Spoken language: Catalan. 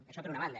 això per una banda